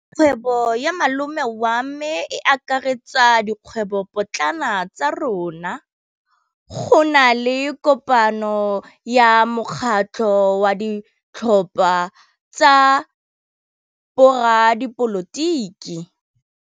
Kgwêbô ya malome wa me e akaretsa dikgwêbôpotlana tsa rona. Go na le kopanô ya mokgatlhô wa ditlhopha tsa boradipolotiki.